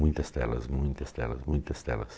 Muitas telas, muitas telas, muitas telas.